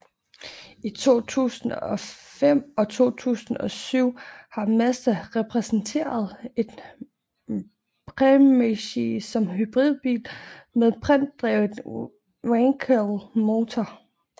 I 2005 og 2007 har Mazda præsenteret en Premacy som hybridbil med brintdrevet wankelmotor